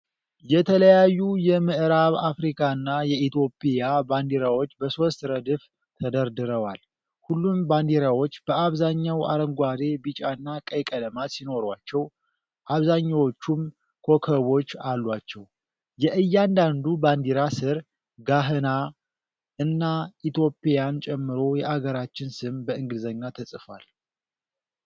የተለያዩ የምዕራብ አፍሪካና የኢትዮጵያ ባንዲራዎች በሦስት ረድፍ ተደርድረዋል። ሁሉም ባንዲራዎች በአብዛኛው አረንጓዴ፣ ቢጫና ቀይ ቀለማት ሲኖሯቸው፣ አብዛኛዎቹም ኮከቦች አሏቸው። የእያንዳንዱ ባንዲራ ሥር “ጋህና” እና ኢትዮጵያን ጨምሮ የአገራቸው ስም በእንግሊዝኛ ተጽፏል።